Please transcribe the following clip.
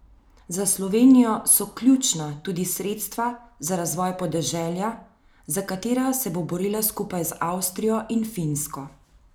Za Slovenijo so ključna tudi sredstva za razvoj podeželja, za katera se bo borila skupaj z Avstrijo in Finsko.